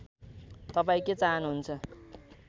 तपाईँ के चाहनुहुन्छ